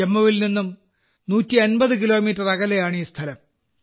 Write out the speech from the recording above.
ജമ്മുവിൽ നിന്ന് 150 കിലോമീറ്റർ അകലെയാണ് ഈ സ്ഥലം